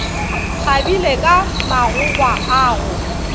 kgabile ka magogwa a go